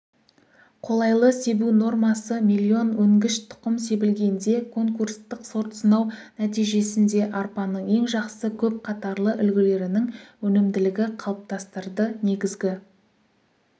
қолайлы себу нормасы миллион өнгіш тұқым себілгенде конкурстық сортсынау нәтижесінде арпаның ең жақсы көп қатарлы үлгілерінің өнімділігі қалыптастырды негізгі